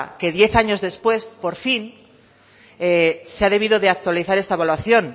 que diez años después por fin se ha debido de actualizar esta evaluación